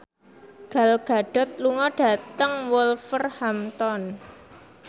Gal Gadot lunga dhateng Wolverhampton